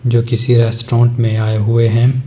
जो किसी रेस्टोरेंट में आए हुए हैं।